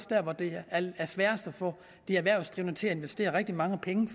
der hvor det er sværest at få de erhvervsdrivende til at investere rigtig mange penge